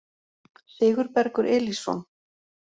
Sigurbergur Elísson